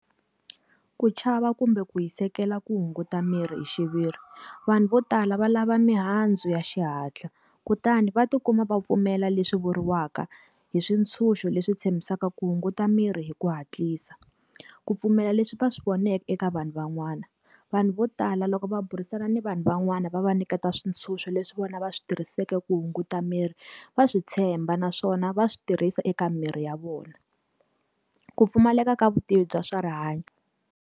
Ku chava kumbe ku hisekela ku hunguta miri hi xiviri. Vanhu vo tala va lava mihandzu ya xihatla, kutani va ti kuma va pfumela leswi vuriwaka hi swintshuxo leswi tshembisaka ku hunguta mirhi hi ku hatlisa. Ku pfumela leswi va swi voneke eka vanhu van'wana. Vanhu vo tala loko va burisana na vanhu van'wana va va nyiketa swintshuxo leswi vona va swi tirhiseke ku hunguta miri, va swi tshemba naswona va swi tirhisa eka miri ya vona. Ku pfumaleka ka vutivi bya swa rihanyo.